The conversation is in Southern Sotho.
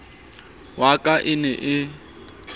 wa ka e ne e